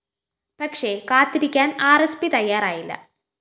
പക്ഷേ കാത്തിരിക്കാന്‍ R S P തയ്യാറായില്ല